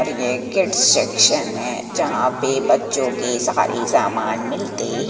और ये kid section है जहां पे बच्चों के सारे सामान मिलते--